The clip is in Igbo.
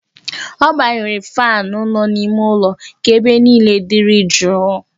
Ọ gbanyere faanụ nọ n'ime ụlọ ka ebe niile dịrị jụụ